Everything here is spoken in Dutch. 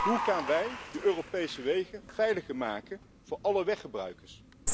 Hoe gaan wij de Europese wegen veiliger maken voor alle weggebruikers?